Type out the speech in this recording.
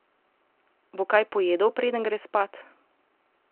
Bo kaj pojedel, preden gre spat?